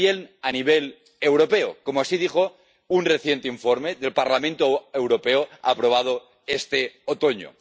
También a nivel europeo, como dijo un reciente informe del Parlamento Europeo aprobado este otoño.